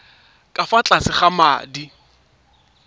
ka fa tlase ga madi